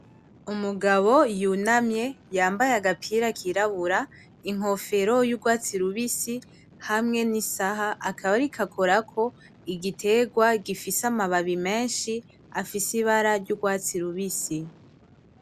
Umugabo yunamye yambaye agapira kirabura, inkofero y'urwatsi rubisi hamwe n'isaha akaba ariko akorako igiterwa gifise amababi menshi afise ibara ry'urwatsi rubisi.